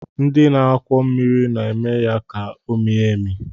Ndị na-akwọ mmiri na-eme ya ka o mie emie